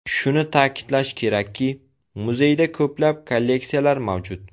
Shuni ta’kidlash kerakki, muzeyda ko‘plab kolleksiyalar mavjud.